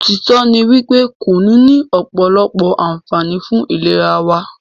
òtítọ́ ní wípé kùnú ní ọ̀pọ̀lọpọ̀ ànfààní fún ìlera wa.